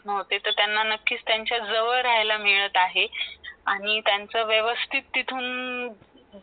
हो , ते तर नक्कीच त्यांना त्यांचा जवळ राहिलेला मिळत आहे आणि ऱ्यांचा वेवस्थित तिथून